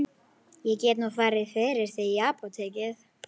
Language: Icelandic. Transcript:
Ég get nú farið fyrir þig í apótekið.